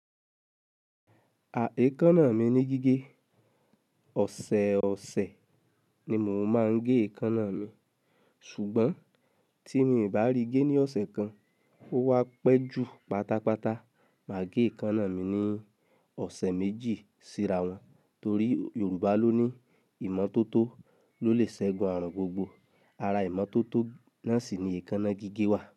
À èékánná mi ní gígé. Ọ̀sẹ̀ ọ̀sẹ̀ ni mò ń máa n gẹ èékánná mi, ṣùgbọ́n tí mi o bá rí gé ní ọ̀sẹ̀ kan, ó wá pẹ́ jù pátápátá, máa gẹ èékánná mi ní ọ̀sẹ̀ méjì síra wọn. Torí Yorùbá ló ní ìmọ́tótó ló lè ṣẹgun àrùn gbogbo. Ara ìmọ́tótó náà sì ni èékánná gígé wà.